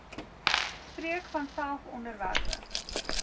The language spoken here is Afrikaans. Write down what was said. spreek vanself onderwerpe